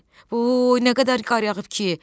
Voy, nə qədər qar yağıb ki,